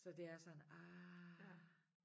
Så det er sådan ah